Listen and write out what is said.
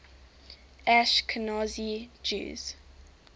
ashkenazi jews